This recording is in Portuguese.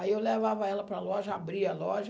Aí eu levava ela para loja, abria a loja.